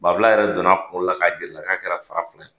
Banfula yɛrɛ donn' kun na, ka'a jir'a la k'a kɛra fara filɛ.